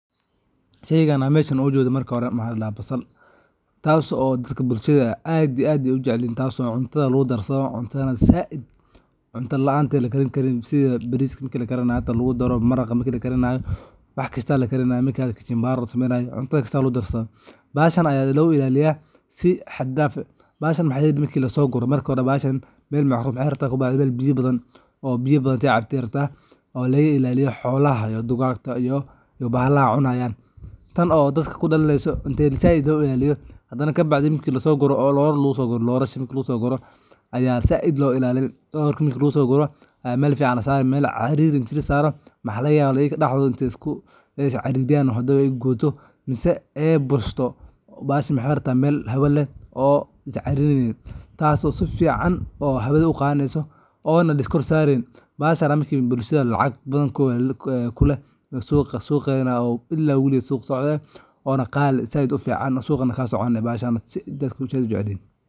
Sheygan an mesha oga jedo marka hore waxa ladaha basal, taso bulshada ay aad iyo aad u jecelyihin. Basasha waa mid ka mid ah khudaarta aadka loo isticmaalo oo muhiim u ah cunnooyinka maalinlaha ah. waxana lagu darsaddha cunto waxa laga digta kajumbaari iyo wax yale oo mamacan. Si wanaagsan loo beero basasha, waxaa muhiim ah in la raaco habab beereed oo sax ah laga bilaabo diyaarinta dhulka ilaa goosashada. Taso marki lorasha lagu guro oo laiskor sarenin oo si fican hawadha u qadato oo bulshada lacag kuleh oo suqedha aad u fican ila waligis oona qali ah oo suqana kasoconi bahashan dadka zaid ay u jecel yihin.